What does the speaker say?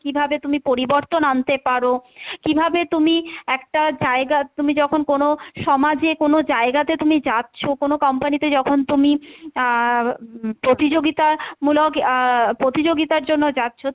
কীভাবে তুমি পরিবর্তন আনতে পারো, কীভাবে তুমি একটা জায়গা, তুমি যখন কোনো সমাজে কোনো জায়গাতে তুমি যাচ্ছো, কোনো company তে যখন তুমি আহ প্রতিযোগিতা মূলক আহ প্রতিযোগিতার জন্য যাচ্ছো,